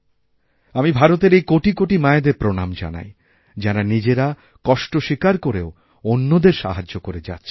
আমি ভারতের এইকোটি কোটি মায়েদের প্রণাম জানাই যাঁরা নিজেরা কষ্ট স্বীকার করেও অন্যদের সাহায্যকরে যাচ্ছেন